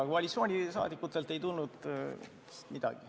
Koalitsiooni liikmetelt ei tulnud midagi.